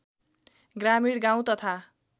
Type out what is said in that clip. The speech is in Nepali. ग्रामीण गाउँ तथा